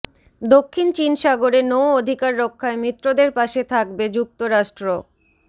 দক্ষিণ চীন সাগরে নৌ অধিকার রক্ষায় মিত্রদের পাশে থাকবে যুক্তরাষ্ট্র